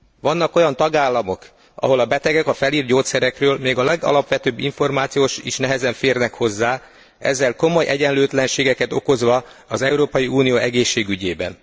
Vannak olyan tagállamok, ahol a betegek a felírt gyógyszerekről még a legalapvetőbb információhoz is nehezen férnek hozzá, ezzel komoly egyenlőtlenségeket okozva az Európai Unió egészségügyében.